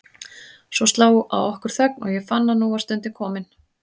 Svo sló á okkur þögn og ég fann að nú var stundin komin.